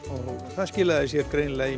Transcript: það skilaði sér greinilega í